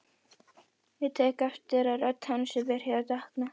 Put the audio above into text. Ég tek eftir að rödd hans er byrjuð að dökkna.